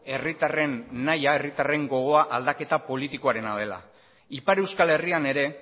herritarren nahia herritarren gogoa aldaketa politikoarena dela ipar euskal herrian ere